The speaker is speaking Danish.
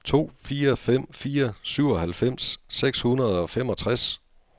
to fire fem fire syvoghalvfems seks hundrede og femogtres